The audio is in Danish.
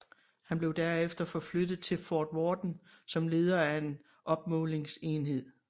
Han blev derefter forflyttet til Fort Worden som leder af en opmålingsenhed